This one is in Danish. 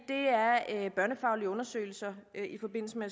er børnefaglige undersøgelser i forbindelse med